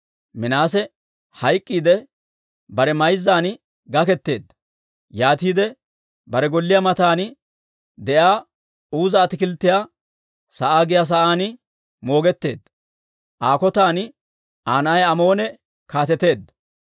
Minaase hayk'k'iidde, bare mayzzan gaketeedda; yaatiide bare golliyaa matan de'iyaa Uuza Ataakilttiyaa sa'aa giyaa sa'aan moogetteedda. Aa kotan Aa na'ay Amoone kaateteedda.